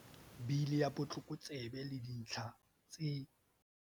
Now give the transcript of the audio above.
Bili ya Botlokotsebe le Dintlha tse